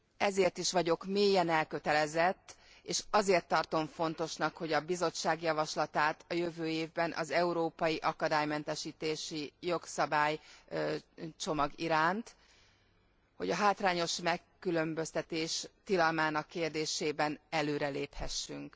Ezért is vagyok mélyen elkötelezett, és azért tartom fontosnak a Bizottság javaslatát a jövő évben az európai akadálymentesítési jogszabálycsomag iránt, hogy a hátrányos megkülönböztetés tilalmának kérdésében előreléphessünk.